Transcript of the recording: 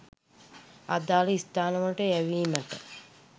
අදාළ ස්ථානවලට යැවීමට